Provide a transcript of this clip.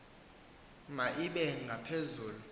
ma ibe ngaphezulu